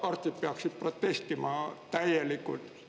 Arstid peaksid protestima täielikult.